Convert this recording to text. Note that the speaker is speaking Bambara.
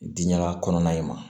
Diɲaga kɔnɔna in ma